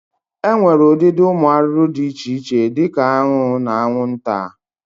E nwere ụdịdị ụmụ arụrụ di iche iche di ka aṅụ na aṅwụnta.